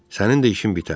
Sənin də işin bitər.